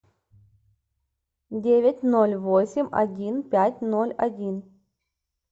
девять ноль восемь один пять ноль один